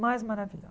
Mais